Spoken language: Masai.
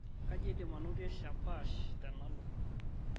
kaji aidim anotie shapash tena alo